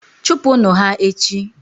chụpụnụ ha echi!.